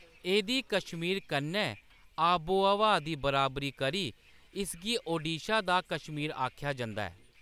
एह्‌‌‌दी कश्मीर कन्नै आबो-हवा दी बराबरी करी इसगी ओडिशा दा कश्मीर आखेआ जंदा ऐ।